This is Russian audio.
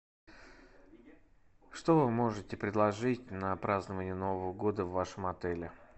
что вы можете предложить на празднование нового года в вашем отеле